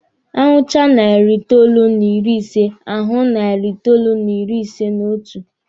A hụchaa narị itoolu na iri ise, a hụ narị itoolu n'ịrị ise n'otu.